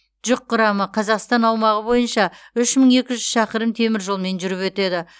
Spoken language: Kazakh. жүк құрамы қазақстан аумағы бойынша үш мың екі жүз шақырым темір жолмен жүріп өтеді